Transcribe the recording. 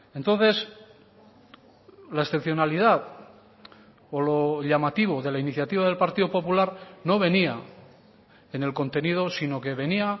entonces la excepcionalidad o lo llamativo de la iniciativa del partido popular no venía en el contenido sino que venía